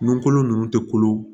Nun kolo ninnu tɛ kolo